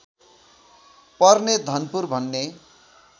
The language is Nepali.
पर्ने धनपुर भन्ने